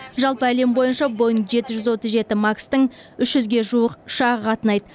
жалпы әлем бойынша боинг жеті жүз отыз жеті макстың үш жүзге жуық ұшағы қатынайды